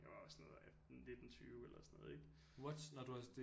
Jeg var jo sådan noget 18 19 20 eller sådan noget ikke